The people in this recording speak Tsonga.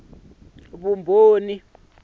fekisi kumbe vumbhoni byin wana